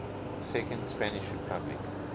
second spanish republic